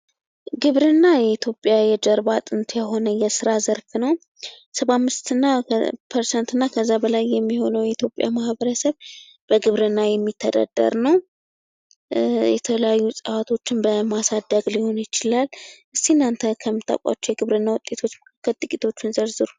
ግብርና የኢትዮጵያ የጀርባ አጥንት የሆነ የስራ ዘርፍ ነው ።ከሰባ አምስት ፐርሰንት በላይ የሚሆነው የኢትዮጵያ ማህበረሰብ በግብርና የሚተዳደር ነው ።የተለያዩ እፅዋቶችን በማሳደግ ሊሆን ይችላል ።እስኪ እናንተ ከምታውቋቸው የግብርና ውጤቶች መካከል ጥቂቶቹን ዘርዝሩ?